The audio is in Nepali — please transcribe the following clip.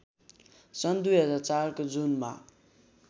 सन् २००४ को जुनमा